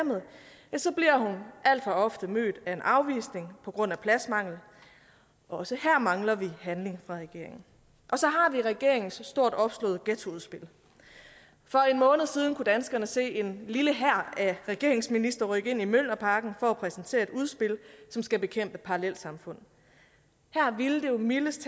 så bliver hun alt for ofte mødt af en afvisning på grund af pladsmangel også her mangler vi handling fra regeringen så har vi regeringens så stort opslåede ghettoudspil for en måned siden kunne danskerne se en lille hær af regeringens ministre rykke ind i mjølnerparken for at præsentere et udspil som skal bekæmpe parallelsamfund her ville det jo mildest